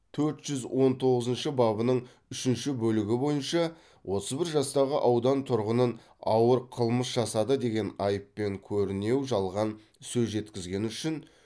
төрт жүз он тоғызыншы бабының үшінші бөлігі бойынша отыз бір жастағы аудан тұрғынын ауыр қылмыс жасады деген айыппен көрінеу жалған сөз жеткізгені үшін